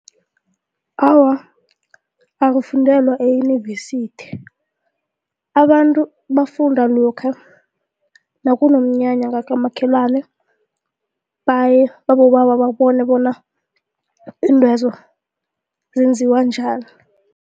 Awa akufundela eyunivesithi abantu bafunda lokha nakunomnyanya ngakamakhelwane baye babobaba babone bona iintwezo zenziwa njani.